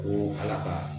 Ko ala ka